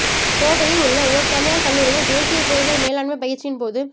கோவையில் உள்ள ஒரு தனியார் கல்லூரியில் தேசிய பேரிடர் மேலாண்மை பயிற்சியின்போது